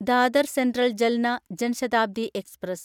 Dadar central Jalna Jan Shatabdi express